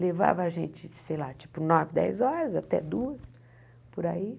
Levava a gente, sei lá, tipo nove, dez horas, até duas, por aí.